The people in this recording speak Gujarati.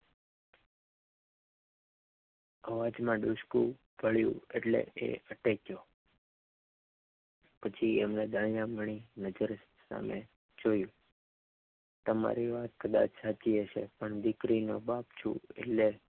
અવાજ માં ડૂસકું પડ્યું એટલે એ અતેક્યો પછી એમને ડાય આમ ગણી નજર સામે જોયુ તમારી વાત કદાચ હાચી હશે પણ દીક્રીનોપ બાપ છુ એટલ